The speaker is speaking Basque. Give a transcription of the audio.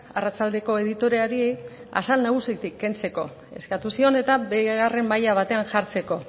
arratsaldeko editoreari azal nagusitik kentzeko eskatu zion eta bigarren maila batean jartzeko